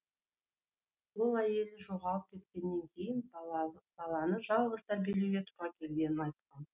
ол әйелі жоғалып кеткеннен кейін баланы жалғыз тәрбиелеуге тура келгенін айтқан